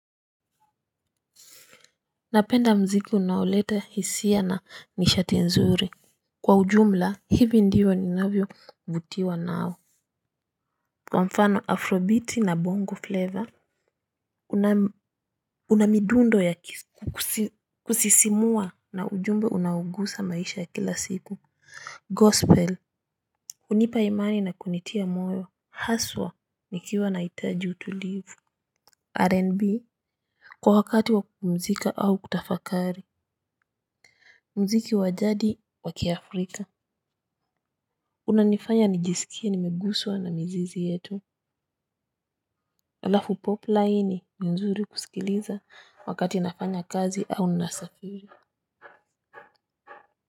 Napenda mziki unaoleta hisia na nishati nzuri. Kwa ujumla hivi ndivyo ninavyovutiwa nao kwa mfano afrobiti na bongo flavor. Una midundo ya kisi kusisimua na ujumbe unaogusa maisha ya kila siku GOSPEL hunipa imani na kunitia moyo haswa nikiwa nahitaji utulivu RNB. Kwa wakati wa kupumzika au kutafakari mziki wa jadi wa kiafrika unanifanya nijisikie nimeguswa na mizizi yetu. Alafu pop naye ni nzuri kusikiliza wakati nafanya kazi au nasafiri.